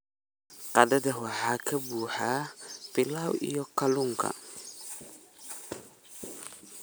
Qadada waxaa ka buuxa pilau iyo kalluunka.